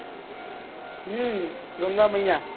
હમ Ganga મૈયા